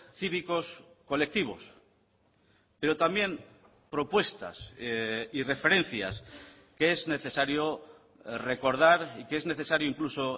cívicos colectivos pero también propuestas y referencias que es necesario recordar y que es necesario incluso